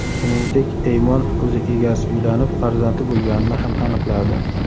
Shuningdek, Eymon uzuk egasi uylanib, farzandli bo‘lganini ham aniqladi.